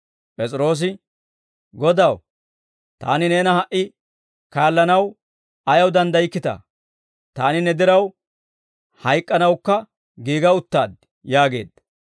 P'es'iroose, «Godaw, taani neena ha"i kaallanaw ayaw danddaykkitaa? Taani ne diraw, hayk'k'anawukka giiga uttaad!» yaageedda.